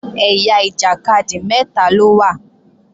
Ẹ̀yà ìjàkadì mẹ́ta ló wà